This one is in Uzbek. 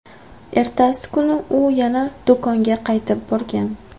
Ertasi kuni u yana do‘konga qaytib borgan.